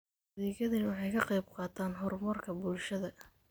Adeegyadani waxay ka qayb qaataan horumarka bulshada.